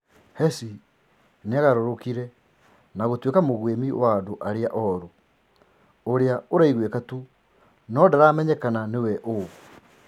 "Hessy niagarũrũkire na gũtuika mũgwimi wa andũ aria oru ũria ũraiguika tu, no ndaramenyekana niwe o."